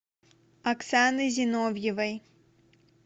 оксаны зиновьевой